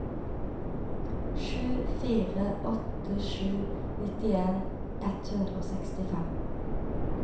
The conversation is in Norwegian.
sju fire åtte sju nittien ett hundre og sekstifem